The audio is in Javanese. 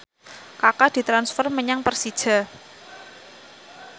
Kaka ditransfer menyang Persija